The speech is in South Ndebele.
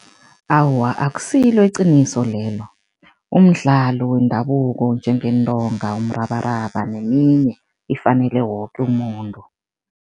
Awa, akusilo iqiniso lelo, umdlalo wendabuko njengeentonga, umrabaraba neminye ifanele woke umuntu.